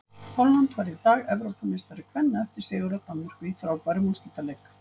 Holland varð í dag Evrópumeistari kvenna eftir sigur á Danmörku í frábærum úrslitaleik.